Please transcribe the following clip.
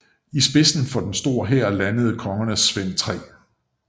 I spidsen for en stor hær landede kongerne Svend 3